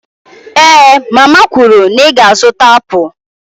Èé mama kwuru na ị ga-azụta apụl